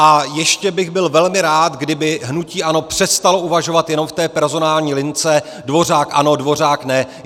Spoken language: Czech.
A ještě bych byl velmi rád, kdyby hnutí ANO přestalo uvažovat jen v té personální lince Dvořák ano, Dvořák ne.